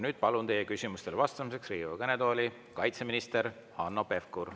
Nüüd palun teie küsimustele vastamiseks Riigikogu kõnetooli kaitseminister Hanno Pevkuri.